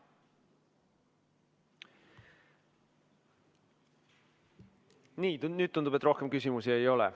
Nii, tundub, et nüüd rohkem küsimusi ei ole.